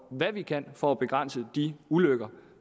hvad vi kan for at begrænse de ulykker